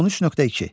13.2.